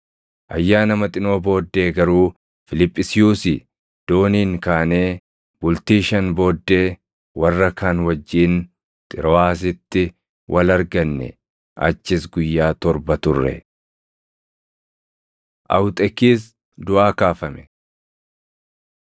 Ayyaana Maxinoo booddee garuu Fiiliphisiyuusii dooniin kaanee bultii shan booddee warra kaan wajjin Xirooʼaasitti wal arganne; achis guyyaa torba turre. Awuxekiis Duʼaa Kaafame